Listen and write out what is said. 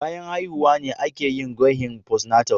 Bayan haihuwa ne a ke yin gwahin "postnatal".